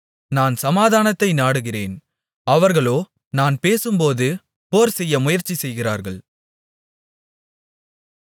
நான் சமாதானத்தை நாடுகிறேன் அவர்களோ நான் பேசும்போது போர்செய்ய முயற்சி செய்கிறார்கள்